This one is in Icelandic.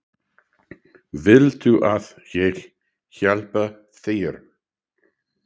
Viltu að ég hjálpi þér?